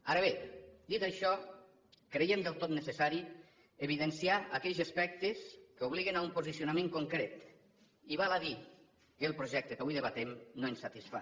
ara bé dit això creiem del tot necessari evidenciar aquells aspectes que obliguen a un posicionament concret i val a dir que el projecte que avui debatem no ens satisfà